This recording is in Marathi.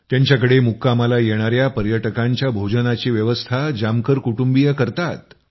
त्यांच्याकडे मुक्कामाला येणाया पर्यटकांच्या भोजनाची व्यवस्था जामकर कुटुंबीय करतात